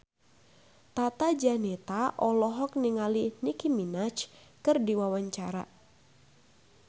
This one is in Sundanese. Tata Janeta olohok ningali Nicky Minaj keur diwawancara